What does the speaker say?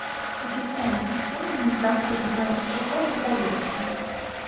ассистент напомни мне завтра в двенадцать часов о поездке